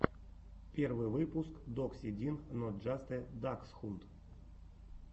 первый выпуск докси дин нот джаст э даксхунд